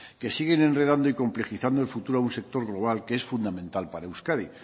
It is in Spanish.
que siguen enredando y complejizando el futuro a un sector global que es fundamental para euskadi